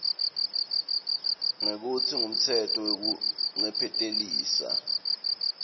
ngekutsi ngumtsetfo wekuncephetelisa